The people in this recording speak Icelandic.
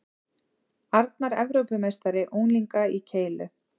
Arnar Evrópumeistari unglinga í keilu